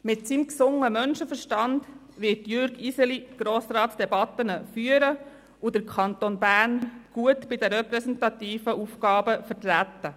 Mit seinem gesunden Menschenerstand wird er Grossratsdebatten führen und den Kanton Bern gut bei repräsentativen Aufgaben vertreten.